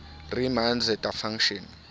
riemann zeta function